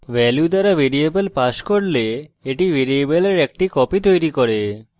value দ্বারা variable pass করলে এটি ভ্যারিয়েবলের একটি copy তৈরী করে